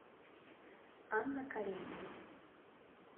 анна каренина